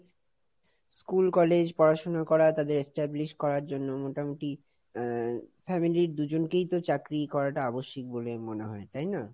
school, college, পড়াশোনা করা, তাদের establish করার জন্য মোটামুটি আহ family র দুজনকেই তো চাকরি করাটা আবশ্যিক বলে মনে হয়, তাই না?